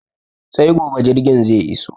Sai gobe jirgin zai iso